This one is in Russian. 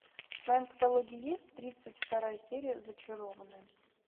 в твоем каталоге есть тридцать вторая серия зачарованные